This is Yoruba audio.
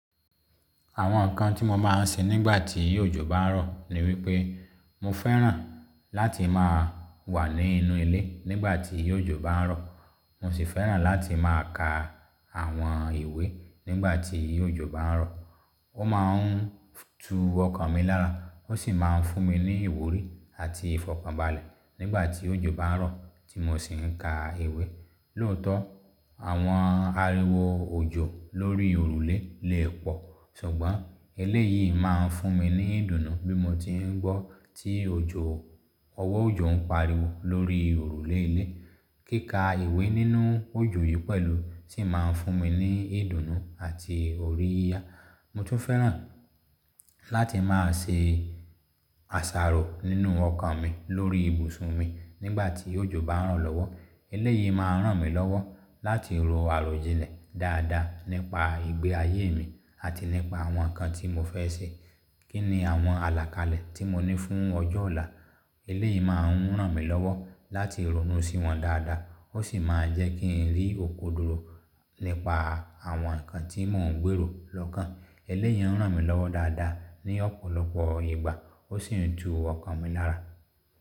Àwọn nǹkan tí mo máa ń ṣe nígbà tí òjò bá ń rọ̀ ni wípé mo fẹ́ràn láti máa wà nínú ilé nígbà tí òjò bá ń rọ̀. Mo sì fẹ́ràn láti máa ka àwọn ìwé nígbà tí òjò bá ń rọ̀. Ó máa ń tú ọkàn mi lára, ó sì máa ń fún mi ní ìwúrí àti ìfọ̀kànbalẹ̀ nígbà tí òjò bá n rọ̀ tí mo sì ń ka ìwé. Lóòótọ́ àwọn ariwo òjò lórí òrùlé leè pọ̀, ṣùgbọ́n eléyìí má ń fún mi ní ìdùnnú bí mo ti ń gbọ́ tí ọwọ́ òjò ń pariwo lórí òrùlé ilé. Kíka ìwé nínú òjò yìí pẹ̀lú sì má n fún mi ní ìdùnnú àti orí yíyá. Mo tún fẹ́ràn láti máa ṣe àsàrò nínú ọkàn mi lórí ibùsùn mi nígbà tí òjò bá ń rọ̀ lọ́wọ́. Eléyìí má ń ràn mí lọ́wọ́ láti ro àròjinlẹ̀ dáadáa nípa ìgbé ayé mi àti nípa àwọn nǹkan tí mo fẹ́ ṣe. Kí ni àwọn àlàkalẹ̀ tí mo ní fún ọjọ́ ọ̀la? Eléyìí má n ràn mí lọ́wọ́ láti ronú sí wọn dáadáa, ó sì máa n jẹ́ kí ń rí òkodoro nípa àwọn nǹkan tí mò ń gbèrò lọ́kàn. Eléyìí ń ràn mí lọ́wọ́ dáadáa ní ọ̀pọ̀lọpọ̀ ìgbà ó sì ń tú ọkàn mi lára.